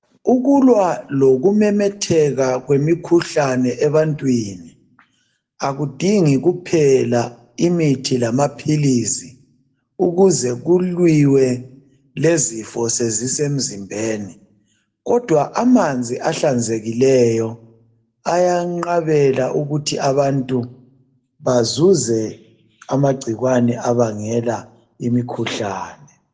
Ukulwa lokumemetheka kwemikhuhlane ebantwini akudingi kuphela imithi lama philisi ukuze kuliwe lezifo sezise mzimbeni. Kodwa amanzi ahlanzekileyo ayanqabela ukuthi abantu bazuze amagcikwane abangela imikhuhlane.